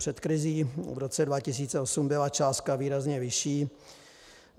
Před krizí v roce 2008 byla částka výrazně vyšší.